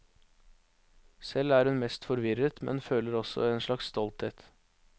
Selv er hun mest forvirret, men føler også en slags stolthet.